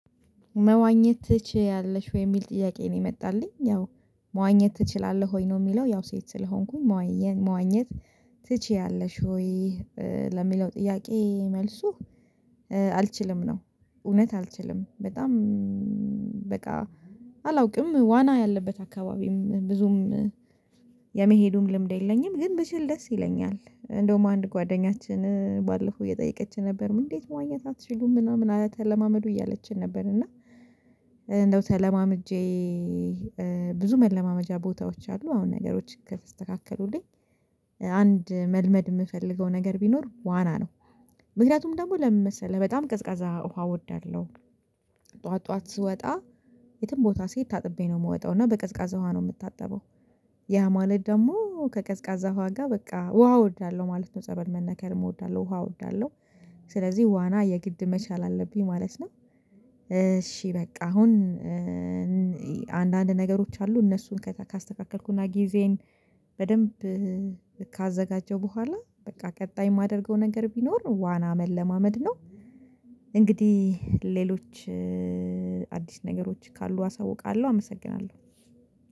መዋኘት ትችያለሽ ወይ የሚል ጥያቄ ነው የመጣልኝ ያው፤ መዋኘት ትችላለህ ወይ ነው የሚለው ያው ሴት ስለሆንኩኝ መዋኘት ትችያለሽ ወይ ለሚለው ጥያቄ መልሱ አልችልም ነው እውነት አልችልም በጣም በቃ አላውቅም ዋና ያለበት አካባቢም ብዙም የመሄዱም ልምድ የለኝም ግን ብችል ደስ ይለኛል እንደውም አንድ ጓደኛችን ባለፈው እየጠየቀችን ነበር እንዴት መዋኘት አትችሉም ምናምን ኧለ ተለማመዱ እያለችን ነበር እና እንደው ተለማምጄ ብዙ መለማመጃ ቦታዎች አሉ አሁን ነገሮች ከስተካከሉልኝ አንድ መልመድ የምፈልገው ነገር ቢኖር ዋና ነው ምክንያቱም ደግሞ ለምን መሰለህ በጣም ቀዝቃዛ ውሃ እወዳለሁ ጠዋት ጠዋት ስወጣ የትም ቦታ ስሄድ ታጥቤ ነው የምወጣው እና በቀዝቃዛ ውሃ ነው የምታጠበው፤ ያ ማለት ደግሞ ከቀዝቃዛ ውሃ ጋር በቃ ውሃ እወዳለሁ ማለት ነው ጸበል መነከር እወዳለሁ ውሃ እወዳለሁ ስለዚህ ዋና የግድ መቻል አለብኝ ማለት ነው እሺ በቃ አሁን አንዳንድ ነገሮች አሉ እነሱን ካስተካከልኩና ጊዜየን በደንብ ካዘጋጀሁ በኋላ በቃ ቀጣይ የማደርገው ነገር ቢኖር ዋና መለማመድ ነው፤ እንግዲህ ሌሎች አዲስ ነገሮች ካሉ አሳውቃለሁ አመሰግናለሁ።